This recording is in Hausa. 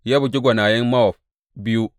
Ya bugi gwanayen Mowab biyu.